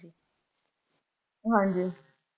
ਹਾਂਜੀ